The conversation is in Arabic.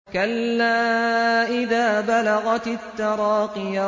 كَلَّا إِذَا بَلَغَتِ التَّرَاقِيَ